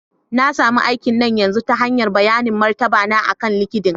Na sami aikina na yanzu ta hanyar bayanin martaba na akan LinkedIn